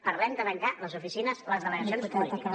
parlem de tancar les oficines les delegacions polítiques